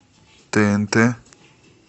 тнт